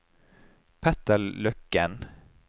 Petter Løkken